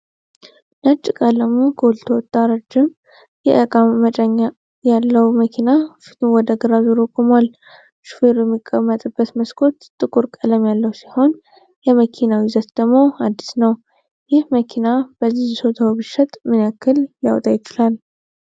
ነጭ ቀለሙ ጎልቶ ወጣ ረጅም የእቃ መጫኛ ያለው መኪና ፊቱን ወደ ግራ አዙሮ ቆሟል። ሹፌሩ የሚቀመጥበት መስኮት ጥቁር ቀለም ያለው ሲሆን የመኪናው ይዘት ደግሞ አዲስ ነው። ይህ መኪና በዚህ ይዞታው ቢሸጥ ምን ያክል ሊያወጣ ይችላል?